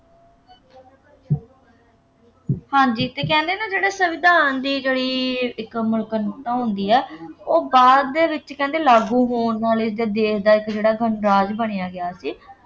ਹਾਂਜੀ ਅਤੇ ਕਹਿੰਦੇ ਨਾ ਜਿਹੜੇ ਸੰਵਿਧਾਨ ਦੀ ਜਿਹੜੀ ਹੁੰਦੀ ਆ, ਉਹ ਬਾਅਦ ਦੇ ਵਿੋੱਚ ਕਹਿੰਦੇ ਲਾਗੂ ਹੋਣ ਵਾਲੇ ਜਾਂ ਦੇਸ਼ ਦਾ ਇੱਕ ਜਿਹੜਾ ਗਣਰਾਜ ਬਣਿਆ ਗਿਆ ਸੀ